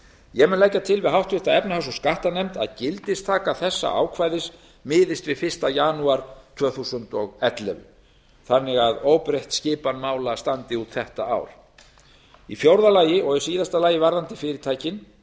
ég mun leggja til við háttvirta efnahags og skattanefnd að gildistaka þessa ákvæðis miðist við fyrsta janúar tvö þúsund og ellefu þannig að óbreytt skipan mála standi út þetta ár í fjórða og síðasta lagi varðandi fyrirtækin